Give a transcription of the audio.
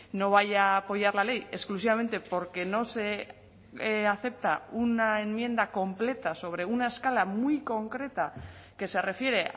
no vaya a apoyar la ley exclusivamente porque no se acepta una enmienda completa sobre una escala muy concreta que se refiere